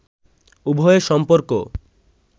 উভয়ের সম্পর্ক